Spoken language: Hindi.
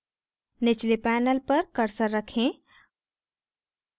निचले panel पर cursor रखें